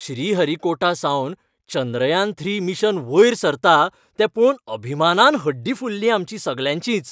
श्रीहरीकोटासावन चंद्रयान त्री, मिशन वयर सरता तें पळोवन अभिमानान हड्डीं फुल्लीं आमचीं सगल्यांचींच.